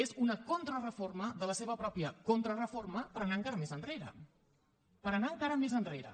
és una contrareforma de la seva pròpia contrareforma per anar encara més enrere per anar encara més enrere